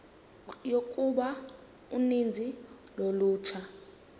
yokuba uninzi lolutsha